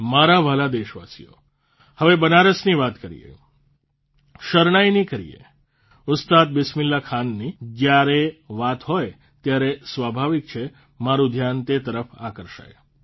મારા વ્હાલા દેશવાસીઓ હવે બનારસની વાત કરીએ શરણાઇની કરીએ ઉસ્તાદ બિસ્મિલ્લાહખાનની જયારે વાત હોય ત્યારે સ્વાભાવિક છે મારૂં ધ્યાન તે તરફ આકર્ષાય